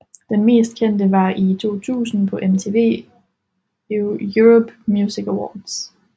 Den mest kendte var i 2000 på MTV Europe Music Awards